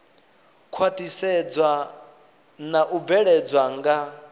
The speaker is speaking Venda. khwaṱhisedzwa na u bveledzwa nga